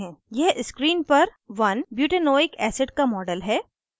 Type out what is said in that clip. यह screen पर 1butanoic acid का model है